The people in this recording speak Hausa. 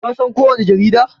Ka san ko wani jarida?